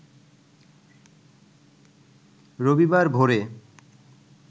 রবিবার ভোরে